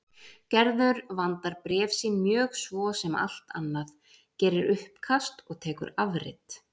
Gerður vandar bréf sín mjög svo sem allt annað, gerir uppkast og tekur afrit.